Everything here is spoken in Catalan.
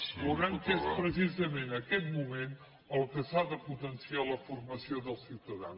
veuran que és precisament en aquest moment que s’ha de potenciar la formació dels ciutadans